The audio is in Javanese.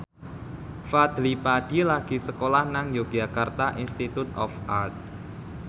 Fadly Padi lagi sekolah nang Yogyakarta Institute of Art